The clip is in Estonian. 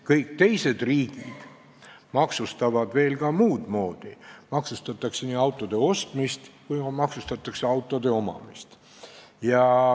Kõik teised riigid maksustavad veel muud moodi – maksustatakse nii autode ostmist kui ka autode omamist.